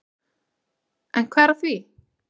En hvað er að því?